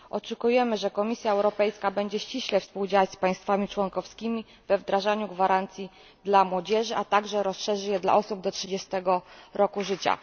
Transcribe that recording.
Oczekujemy, że Komisja Europejska będzie ściśle współdziałać z państwami członkowskimi we wdrażaniu gwarancji dla młodzieży, a także rozszerzy je dla osób do 30 roku życia.